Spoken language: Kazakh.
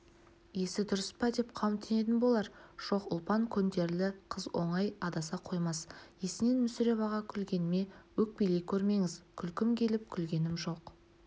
есі дұрыс па деп қауіптенетін болар жоқ ұлпан көнтерілі қыз оңай адаса қоймас есінен мүсіреп аға күлгеніме өкпелей көрмеңіз күлкім келіп күлгенім жоқ